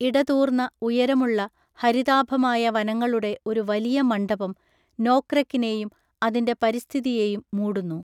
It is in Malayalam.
ഇടതൂർന്ന, ഉയരമുള്ള, ഹരിതാഭമായ വനങ്ങളുടെ ഒരു വലിയ മണ്ഡപം നോക്റെക്കിനെയും അതിൻ്റെ പരിസ്ഥിതിയെയും മൂടുന്നു.